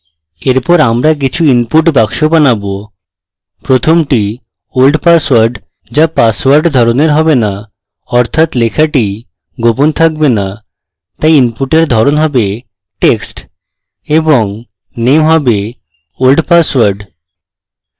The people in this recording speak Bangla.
এরপর আমরা কিছু input বাক্স বানাবো প্রথমটি old password: যা password ধরণের হবে না অর্থাৎ লেখাটি গোপন থাকবে না তাই input এর ধরণ হবে text এবং name হবে oldpassword